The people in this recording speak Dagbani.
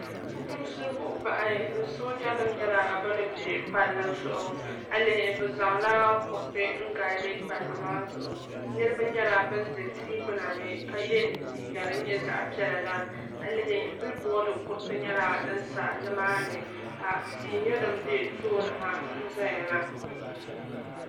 Fukumsi buɣubahi ni soojinim nyela ban be palli zuɣu a yi lihi bɛ zaŋla kuriti n gaadi palli maa zuɣu niribi nyela ban ʒe tihi gbuna ni ka ye liiga din nye zaɣpiɛlli la a lihi bilibord kuriti nyela din sa ni maa ni ka tii nye din be tooni ha n zaya na.